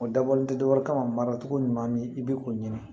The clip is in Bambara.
O dabɔlen tɛ dɔ wɛrɛ kama ma mara cogo ɲuman min i bɛ o ɲini